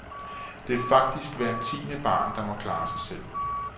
Det er faktisk hver tiende barn, der må klare sig selv.